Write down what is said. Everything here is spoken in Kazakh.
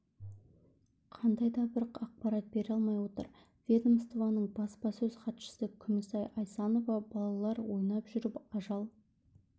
қандай дабір ақпарат бере алмай отыр ведомствоның баспасөз хатшысы күмісай асайнова балалар ойнап жүріп ажал